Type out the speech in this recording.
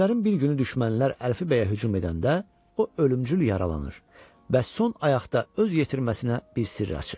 Günlərin bir günü düşmənlər Əlfi bəyə hücum edəndə o ölümcül yaralanır və son ayaqda öz yetirməsinə bir sirr açır.